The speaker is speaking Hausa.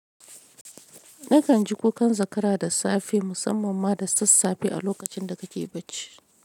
Nakan ji kukan zakara da safe musamman ma da sassafe a lokacin da ka ke bacci.